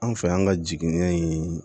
An fɛ yan ka jigini in